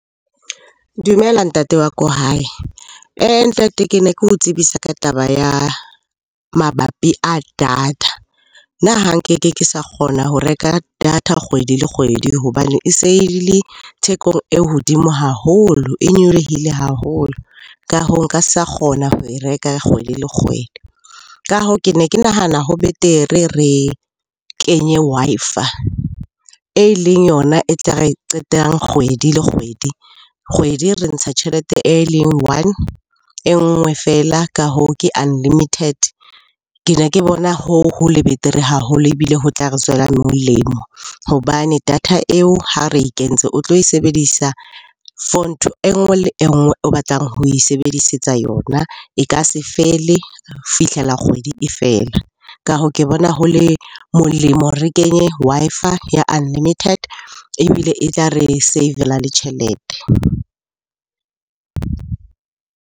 Dumela ntate wa ko hae. Ntate ke ne ke ho tsebisa ka taba ya mabapi a data. Nna ha nkeke ke sa kgona ho reka data kgwedi le kgwedi hobane e se e le thekong e hodimo haholo, e nyolohile haholo. Ka hoo, nka sa kgona ho e reka kgwedi le kgwedi. Ka hoo, ke ne ke nahana ho betere re kenye Wi-Fi, e leng yona e tla re e qetang kgwedi le kgwedi. Kgwedi re ntsha tjhelete e leng one, e nngwe feela. Ka hoo ke unlimited. Ke ne ke bona ho ho le betere haholo ebile ho tla re tswela molemo hobane data eo ha re e kentse, o tlo e sebedisa for ntho enngwe le enngwe o batlang ho e sebedisetsa yona. E ka se fele fihlela kgwedi e fela. Ka hoo, ke bona ho le molemo re kenye Wi-Fi ya unlimited ebile e tla re save-la le tjhelete.